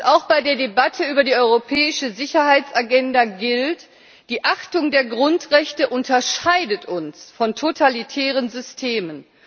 Auch bei der Debatte über die europäische Sicherheitsagenda gilt Die Achtung der Grundrechte unterscheidet uns von totalitären Systemen.